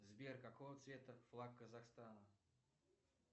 сбер какого цвета флаг казахстана